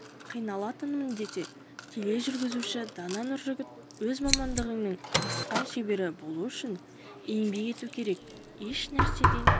қиналатынмын десе тележүргізуші дана нұржігіт өз мамандығыңның асқан шебері болу үшін еңбек ету керек ешнәрседен